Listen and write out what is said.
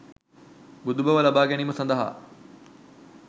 බුදුබව ලබා ගැනීම සඳහා